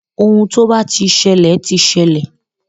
Ohun tó bá ti ṣẹlẹ̀ ti ṣẹlẹ̀.